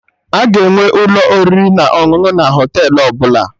A ga-enwe ụlọ oriri na ọṅụṅụ na Họtelụ ọbụla